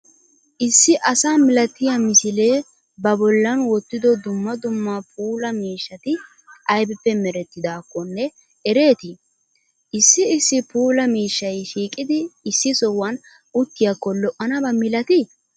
issi asa milatiya misile ba bollan wotido duummaa duummaa puula miishshati aybippe mereetiddaakkonne ereeti? issi issi puula miishshay shiqqidi issi sohuwan uttiyakko lo'anabaa milati?